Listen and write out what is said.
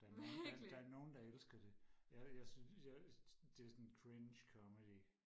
der er nogen der der er nogen elsker det jeg jeg synes jeg det er sådan cringe comedy